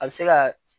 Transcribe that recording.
A bɛ se ka